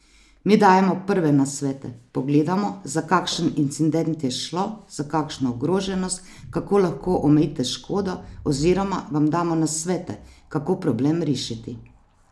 Mi dajemo prve nasvete, pogledamo, za kakšen incident je šlo, za kakšno ogroženost, kako lahko omejite škodo oziroma vam damo nasvete, kako problem rešiti.